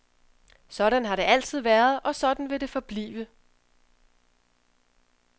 Sådan har det altid været, og sådan vil det forblive.